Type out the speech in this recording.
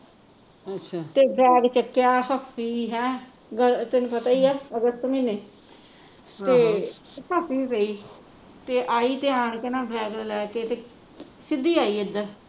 ਤੇ ਬੈਗ ਚੱਕਿਆ ਹੱਸੀ ਹੈਂ ਤੈਨੂੰ ਪਤਾ ਹੀ ਹੈ ਅਗਸਤ ਮਹੀਨੇ ਤੇ ਭਾਭੀ ਵੀ ਪਈ ਤੇ ਆਈ ਤੇ ਆਣ ਕੇ ਨਾ ਤੇ ਬੈਗ ਲੈ ਕੇ ਤੇ ਸਿੱਧੀ ਆਈ ਏਧਰ